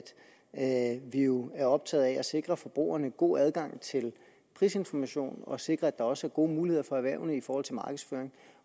at vi jo er optagede af at sikre forbrugerne god adgang til prisinformation og sikre at der også er gode muligheder for erhvervene i forhold til markedsføring